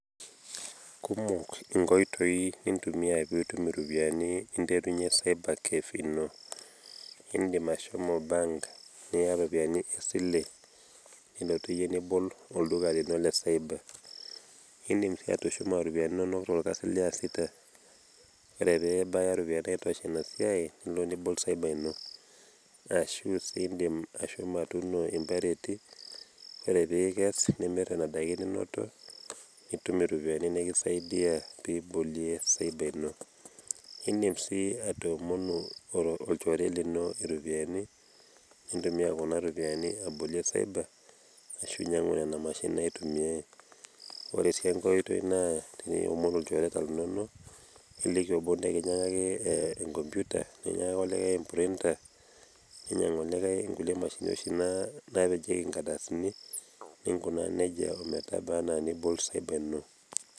kumok inkoitoi nintumia pee unterunye cyber cafe ino. idim ashomo bank niya itropiyiani esile, nilotu iyie nibol oldua lino le cyber idim sii atushuma iropiyiani inonok toolkasin liasita. ore pee ebaya iropiyiani naitosha ina siai, elo nibol cyber ino aashu iidim ashomo atuuno impereti, ore pee ikes nimir enebaiki ninoto nitum iropiyiani nikisaidia pee ibolie cyber ino. idim sii atoomono olchore lino iropiyiani, nintumia kuna ropiyiani abolie cyber ashu iniangu nena mashinini naitumiae, ore sii enkae oitoi naa teniomon ilchoreta linonok. niliki obo pee kinyiangaki e computer nikinyiangaki olikae e printer ninyiangu olikae inkulie mashinini oshi naa pejieki nkardasini, ninkunaa nejia ometaba anaa nibol cyber ino.